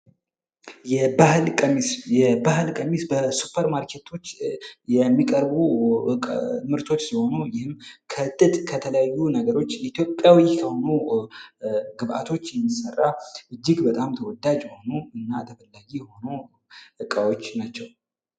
የባህል ቀሚስ የባህል ቀሚስ በሱፐር ማርኬቶች የሚቀርቡ ልብሶች ሲሆኑ ይህም ደግሞ ከጠጥ ከተለያዩ ነገሮች ኢትዮጵያዊ ከሆኑ ግብቶች የሚሰራ እጅግ በጣም ተወዳጅ የሆኑ እና ተፈላጊ የሆኑ እቃዎች ናቸው።